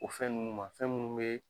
O fɛn nunuu ma, fɛn munnu be